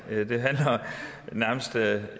det